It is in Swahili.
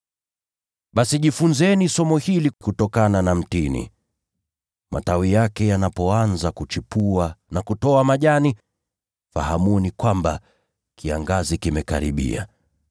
“Basi jifunzeni somo hili kutokana na mtini: Matawi yake yanapoanza kuchipua na kutoa majani, mnatambua kwamba wakati wa kiangazi umekaribia.